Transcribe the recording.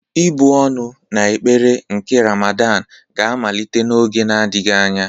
Ị́bụ̀ ọnụ na ekpere nke Ramadan ga-amalite n'oge adịghị anya.